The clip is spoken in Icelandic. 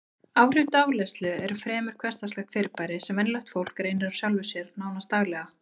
Áhrif dáleiðslu eru fremur hversdagslegt fyrirbæri sem venjulegt fólk reynir á sjálfu sér, nánast daglega.